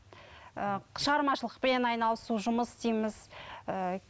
ыыы шағырмашылықпен айналысу жұмыс істейміз ііі